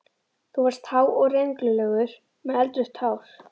Þú varst há og rengluleg með eldrautt hár.